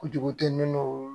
Kojugu tɛ minnu